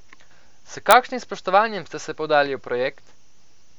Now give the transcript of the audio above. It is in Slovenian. S kakšnim spoštovanjem ste se podali v projekt?